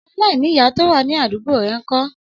Ọmọ alainiya to wa ni adugbo rẹ n kọ?